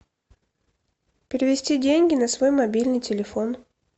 перевести деньги на свой мобильный телефон